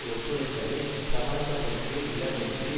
ஒத்துழைப்பதை சமரசத்திற்கு இடமின்றி